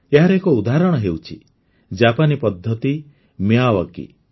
ଏହାର ଏକ ଉଦାହରଣ ହେଉଛି ଜାପାନୀ ପଦ୍ଧତି ମିୟାୱାକି